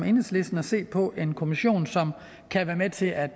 enhedslisten at se på en kommission som kan være med til at